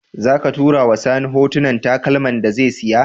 Zaka tura wa sani hotunan takalman da ya siya?